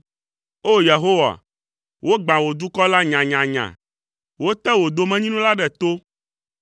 O! Yehowa, wogbã wò dukɔ la nyanyanya, wote wò domenyinu la ɖe to.